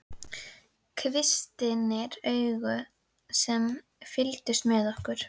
Kvistirnir augu sem fylgdust með okkur.